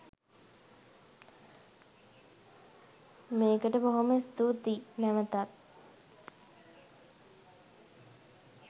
මේකට බොහොම ස්තුතියි නැවතත්